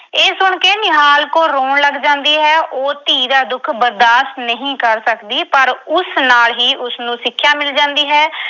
ਇਹ ਸੁਣ ਕੇ ਨਿਹਾਲ ਕੌਰ ਰੋਣ ਲੱਗ ਜਾਂਦੀ ਹੈ। ਉਹ ਧੀ ਦਾ ਦੁੱਖ ਬਰਦਾਸ਼ਤ ਨਹੀਂ ਕਰ ਸਕਦੀ ਪਰ ਉਸ ਨਾਲ ਹੀ ਉਸਨੂੰ ਸਿੱਖਿਆ ਮਿਲ ਜਾਂਦੀ ਹੈ।